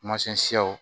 Masɛn siyaw